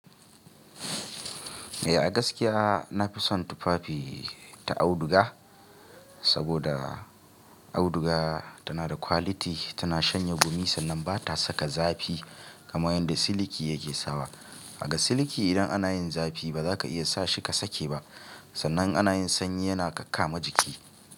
Eh a gaskiya nafi son tufafi ta auduga, saboda auduga tana da quality, tana shanye gumi sannan bata saka zafi kamar yadda siliki yake sawa. Ga siliki idan ana yin zafi baza ka iya sa shi ka sake ba, sannan ana yin sanyi yana kakama jiki.